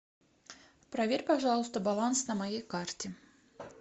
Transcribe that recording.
проверь пожалуйста баланс на моей карте